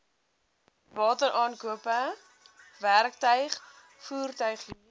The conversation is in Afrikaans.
wateraankope werktuig voertuighuur